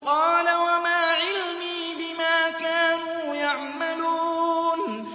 قَالَ وَمَا عِلْمِي بِمَا كَانُوا يَعْمَلُونَ